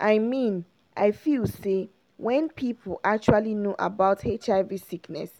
i mean i feel say wen people actually know about hiv sickness